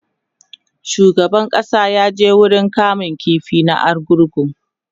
shugaban ƙasa ya je wurin kama ƙifi na argungu